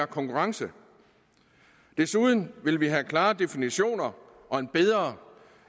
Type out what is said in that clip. konkurrence desuden vil vi have klare definitioner og en bedre